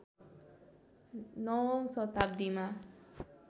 ९ औँ शताब्दीमा